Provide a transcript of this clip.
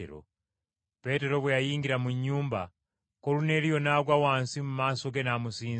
Peetero bwe yayingira mu nnyumba, Koluneeriyo n’agwa wansi mu maaso ge n’amusinza.